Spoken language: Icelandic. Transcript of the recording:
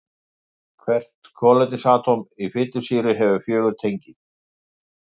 Hvert kolefnisatóm í fitusýru hefur fjögur tengi.